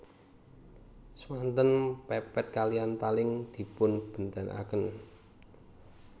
Swanten pepet kaliyan taling dipunbèntenaken